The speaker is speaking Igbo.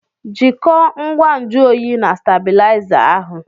jikọọ ngwa nju oyi na stábịlịzá ahụ